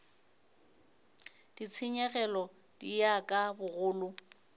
ditshenyegelo di ya ka bogolo